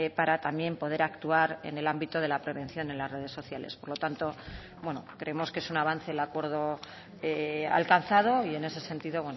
para también poder actuar en el ámbito de la prevención en las redes sociales por lo tanto creemos que es un avance el acuerdo alcanzado y en ese sentido